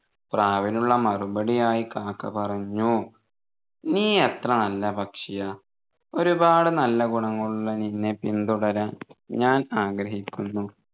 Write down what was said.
പ്രാവിനുള്ള മറുപടിയായി കാക്ക പറഞ്ഞു നീ എത്ര നല്ല പക്ഷിയാ ഒരുപാട് നല്ല ഗുണങ്ങളുള്ള നിന്നെ പിന്തുടരാൻ ഞാൻ ആഗ്രഹിക്കുന്നു